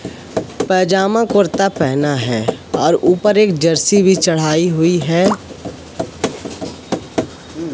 पजामा कुर्ता पहना है और ऊपर एक जर्सी भी चढ़ाई हुई है।